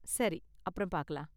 சரி, அப்பறம் பாக்கலாம்